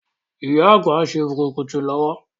Ìyá Àgbà ń ṣe bùrùkùtù lọwọ́.